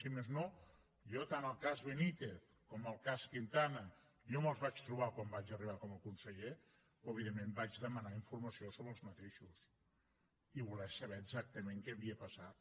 si més no tant el cas benítez com el cas quintana jo me’ls vaig trobar quan vaig arribar com a conseller però evidentment vaig demanar informació sobre aquests i voler saber exactament què havia passat